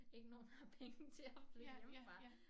Ikke nogen har penge til at flytte hjemmefra